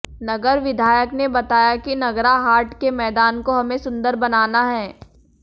नगर विधायक ने बताया कि नगरा हाट के मैदान को हमें सुन्दर बनाना है